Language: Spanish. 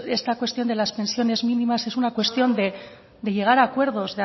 esta cuestión de las pensiones mínimas es una cuestión de llegar a acuerdos